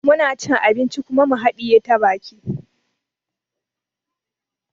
Muna cin abinci kuma mu haɗiye ta baki